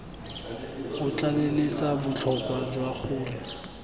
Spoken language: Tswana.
o tlaleletsa botlhokwa jwa gore